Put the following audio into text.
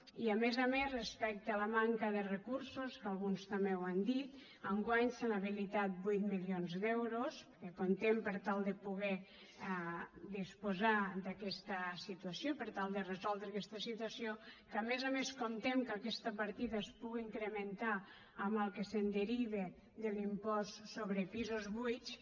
i a més a més respecte a la manca de recursos que alguns també ho han dit enguany s’han habilitat vuit milions d’euros que hi comptem per tal de disposar d’aquesta situació per tal de resoldre aquesta situació que a més a més comptem que aquesta partida es puga incrementar amb el que es derive de l’impost sobre pisos buits